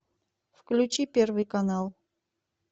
включи первый канал